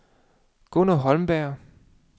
Gunner Holmberg